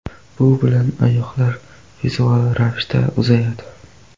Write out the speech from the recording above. Bu bilan oyoqlar vizual ravishda uzayadi.